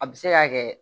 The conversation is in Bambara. A bɛ se ka kɛ